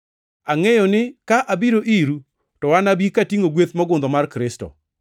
Angʼeyo ni ka abiro iru to anabi katingʼo gweth mogundho mar Kristo.